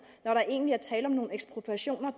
når der egentlig er tale om nogle ekspropriationer